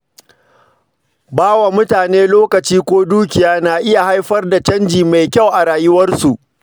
Baya mutane lokaci ko dukiya na iya haifar da canji mai kyau a rayuwarsu.